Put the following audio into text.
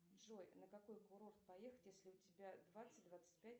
джой на какой курорт поехать если у тебя двадцать двадцать пять